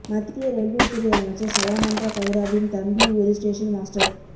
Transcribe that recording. மத்திய ரயில்வே துறை அமைச்சர் சதானந்த கவுடாவின் தம்பி ஒரு ஸ்டேஷன் மாஸ்டர்